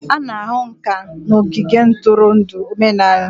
A na-ahụ ǹkà n'ogige ntụrụndụ omenala